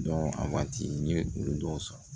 a waati n ye olu dɔw san